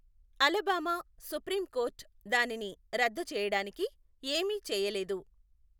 Alabama Supreme Court దానిని రద్దు చేయడానికి ఏమీ చేయలేదు.